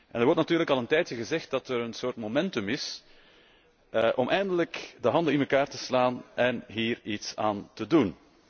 Er wordt natuurlijk al enige tijd gezegd dat er een soort momentum is om eindelijk de handen in elkaar te slaan en hier iets aan te doen.